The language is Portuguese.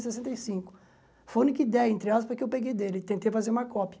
sessenta e cinco Foi a única ideia, entre aspas, que eu peguei dele e tentei fazer uma cópia.